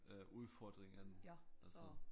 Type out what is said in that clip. Øh udfordring end altså